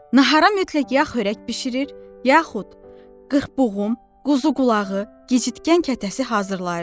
Nahara mütləq yax horək bişirir, yaxud qırxboğum, quzuqulağı, gicitgən kətəsi hazırlayırdı.